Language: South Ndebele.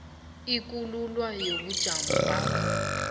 ukululwa kobujamo bakho